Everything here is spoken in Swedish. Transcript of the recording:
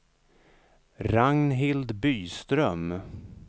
Ragnhild Byström